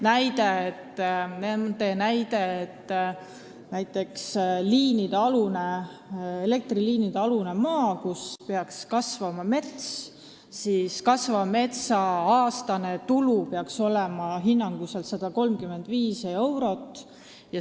Nad tõid näiteks, et kui elektriliinide all on maa, kus peaks kasvama mets, siis peaks kasvava metsa aastane tulu olema hinnanguliselt 135 eurot.